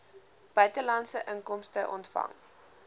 buitelandse inkomste ontvang